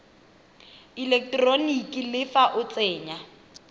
eleketeroniki le fa o tsenya